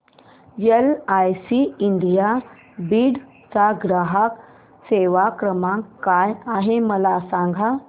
LIC India Beed चा ग्राहक सेवा क्रमांक काय आहे मला सांग